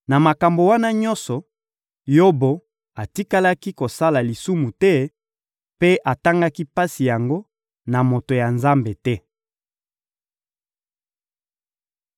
Na makambo wana nyonso, Yobo atikalaki kosala lisumu te mpe atangaki pasi yango na moto ya Nzambe te.